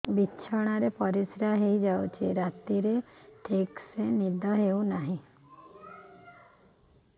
ବିଛଣା ରେ ପରିଶ୍ରା ହେଇ ଯାଉଛି ରାତିରେ ଠିକ ସେ ନିଦ ହେଉନାହିଁ